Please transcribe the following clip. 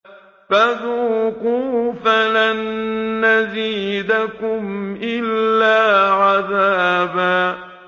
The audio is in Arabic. فَذُوقُوا فَلَن نَّزِيدَكُمْ إِلَّا عَذَابًا